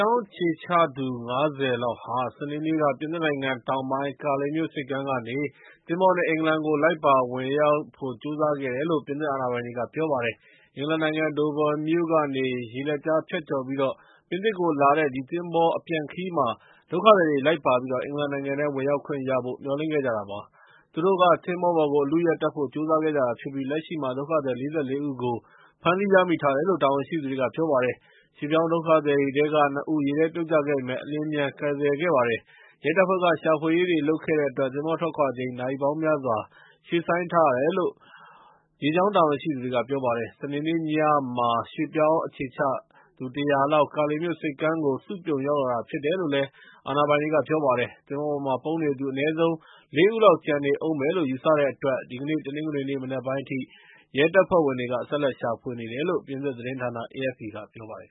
ောင်းအခြေချသူ ၅၀ ခန့် ဟာ စနေနေ့ နှောင်းပိုင်းက ပြင်သစ်နိုင်ငံ တောင်ပိုင်း Calais မြို့ဆိပ်ကမ်းကနေ သင်္ဘောနဲ့ အင်္ဂလန်ကို လိုက်ပါ ဝင်ရောက်ဖို့ ကြိုးစားခဲ့တယ်လို့ ပြင်သစ်အာဏာပိုင်တွေက ပြောပါတယ်။ အင်္ဂလန်နိုင်ငံ Doverမြို့ကနေ ရေလက်ကြားဖြတ်ကျော်ပြီး ပြင်သစ်ကို လာတဲ့ ဒီသင်္ဘော အပြန်ခရီးမှာ ဒုက္ခသည်တွေက လိုက်ပါပြီး အင်္ဂလန်နိုင်ငံ ထဲကို ဝင်ရောက်ခွင့်ရဖို့ မျှော်လင့်ခဲ့ ကြတာဖြစ်ပါတယ်။ သူတို့က သဘောၤပေါ်ကို အလုအယက်တက်ဖို့ ကြိုးစားခဲ့ကြတာဖြစ်ပြီး လက်ရှိမှာ ဒုက္ခသည်၄၄ ဦး ကို ဖမ်းဆီးရမိထားတယ်လို့ တာဝန်ရှိသူတွေက ပြောပါတယ်။ ရွှေ့ပြောင်း ဒုက္ခသည်တွေထဲက ၂ ဦး ရေထဲ ပြုတ်ကျခဲ့ပေမယ့် အလျင်အမြန် ကယ်ဆယ်ခဲ့ပါတယ်။ ရဲတပ်ဖွဲ့က ရှာဖွေရေးတွေ လုပ်ခဲ့တဲ့ အတွက် သင်္ဘောထွက်ခွာချိန် နာရီပေါင်းများစွာ ရွှေ့ဆိုင်းထားရတယ်လို့ ရေကြောင်း တာဝန်ရှိသူတွေက ပြောပါတယ်။ စနေနေ့ည မှာ ရွှေ့ပြောင်း အခြေချ ၁၀၀ လောက် Calais မြို့ဆိပ်ကမ်းကို စုပြုံရောက်လာတာ ဖြစ်တယ်လို့လည်း အာဏာပိုင်တွေက ပြောတာပါ။ သဘောၤပေါ်မှာ ပုန်းနေသူ အနည်းဆုံး လေးဦးလောက် ကျန်နေဦးမယ်လို့ ယူဆတဲ့ အတွက် ဒီကနေ့ တနင်္ဂနွေနေ့ မနက်ပိုင်းအထိ ရဲတပ်ဖွဲ့ ဝင်တွေက ဆက်လက်ရှာဖွေနေတယ်လို့ ပြင်သစ် သတင်းဌာန AFP ကပြောပါတယ်